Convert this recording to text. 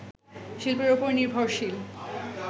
শিল্পের ওপর নির্ভরশীল